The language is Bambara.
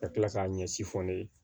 Ka tila k'a ɲɛsi fɔ ne ye